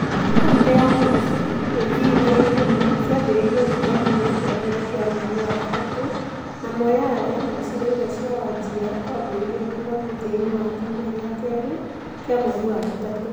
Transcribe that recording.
Kauntĩ cia Kericho, Kisii na Kisumu ciambĩrĩirie kura kiumia kĩa mbere gĩa mweri wa gatatũ, na Moyale na icigo imwe cia Wajir kwambĩrĩria kura mũthiainĩ wa kiumia gĩa kerĩ kĩa mweri wa gatatũ.